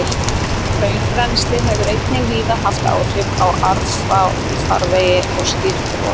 Hraunrennsli hefur einnig víða haft áhrif á árfarvegi og stýrt rofi.